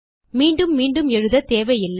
மீண்டும் மீண்டும் எழுத தேவையில்லை